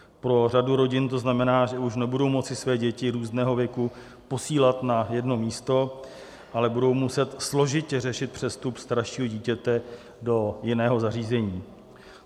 Pro řadu rodin to znamená, že už nebudou moci své děti různého věku posílat na jedno místo, ale budou muset složitě řešit přestup staršího dítěte do jiného zařízení.